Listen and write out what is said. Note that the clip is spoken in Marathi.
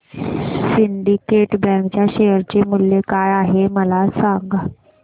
आज सिंडीकेट बँक च्या शेअर चे मूल्य काय आहे हे सांगा